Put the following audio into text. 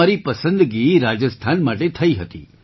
તો મારી પસંદગી રાજસ્થાન માટે થઈ હતી